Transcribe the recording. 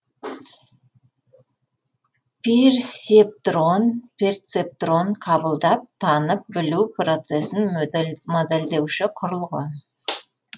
персептрон перцептрон қабылдап танып білу процесін модельдеуші құрылғы